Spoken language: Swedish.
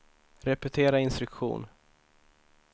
repetera instruktion